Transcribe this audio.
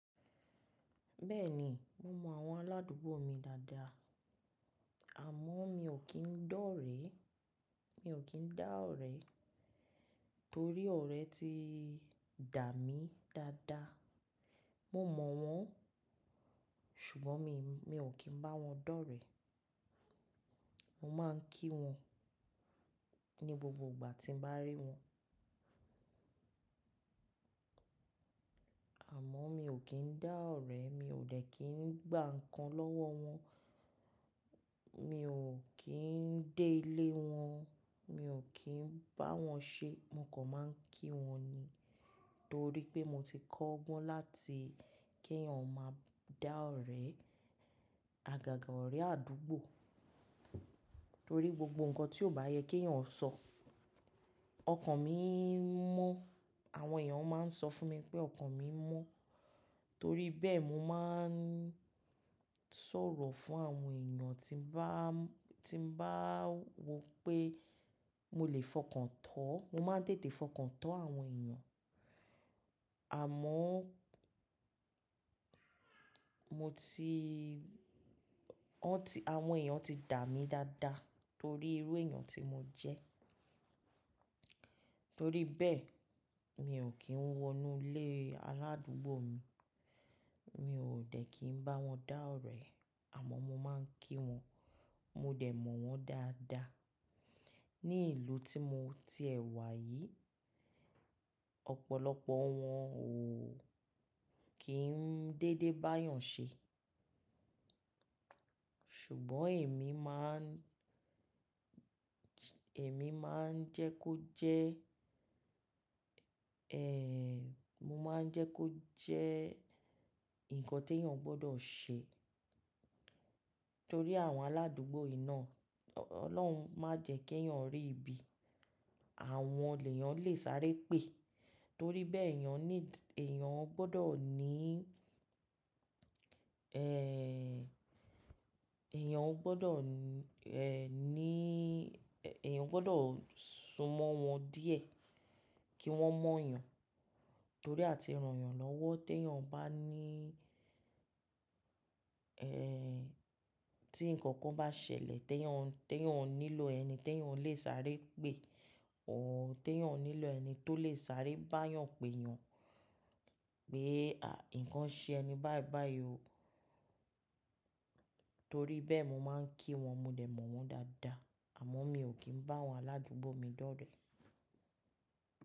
Bẹ́ẹ̀ni, mo mọ àwọn aládùúgbò mi dáadáa, àmọ́ mi ò kí ń dá ọ̀rẹ́, torí ọ̀rẹ́ ti dà mí dáadáa. Mo mọ̀ wọ́n, ṣùgbọ́n mi ò kí ń bá wọn dọ́rẹ̀ẹ́. Mo máa ń kí wọn ní gbogbo ìgbà tí ń bá rí wọn. Àmọ́ mi ò kí ń dá ọ̀rẹ́, mi ò dẹ̀ kí ń gba nǹkan lọ́wọ́ wọn, mi ò kí ń dé ilé wọn, mi ò kí ń bá wọn ṣé. Mo kàn máa ń kí wọn ni torí pé mo ti kọ́ ọgbọ́n láti kí ẹ̀yàn má dá ọ̀rẹ́ àgàgà ọ̀rẹ́ àdúgbò torí gbogbo nǹkan tí ò bá yẹ kí ẹ̀yàn ó sọ, ọkàn mi ń mọ́. Àwọn èèyàn máa ń sọ fún mi pé ọkàn mi ń mọ́ torí bẹ́ẹ̀, mo máa ń sọ̀rọ̀ fún àwọn èèyàn tí ń bá wò pé mo lè fọkàn tán. Mo máa ń tètè fọkàn tán àwọn èèyàn. Àmọ́ àwọn èèyàn ti dà mí dáadáa torí irú èèyàn tí mo jẹ́. Torí bẹ́ẹ̀, mi ò kí ń wọnú ilé aládùúgbò mi, mi ò dẹ̀ kí ń bá wọn dá ọ̀rẹ́ àmọ́ mo máa ń kí wọn, mo dẹ̀ mọ̀ wọ́n dáadáa. Ní ìlú tí mo ti ẹ wà yìí, ọ̀pọ̀lọpọ̀ wọn ò kí ń dédé bá yàn ṣé ṣùgbọ́n èmi máa ń jẹ́ kó jẹ́ ǹkan tí ẹ̀yàn gbọdọ̀ ṣé torí àwọn aládùúgbò yìí náà, Ọlọ́run má jẹ́ kí ẹ̀yàn rí ibi àwọn èèyàn lè sáré pè torí bẹ́ẹ̀ èèyàn gbọdọ ni ẹ̀yàn gbọdọ̀ sún mọ́ wọn díẹ̀ kí wọ́n mọ̀ yàn torí àti ran yàn lọ́wọ́ tí ǹkan kan bá ṣẹlẹ̀ tí ẹ̀yàn ò nílò ẹni tó lè sáré bá yàn pé yàn pé ǹkan ṣe ẹni báyìí o. Torí bẹ́ẹ̀ mo máa ń kí wọn, mo dẹ̀ mọ̀ wọ́n dáadáa àmọ́ mi ò kí ń bá àwọn aládùúgbò mi dọ́rẹ̀ẹ́.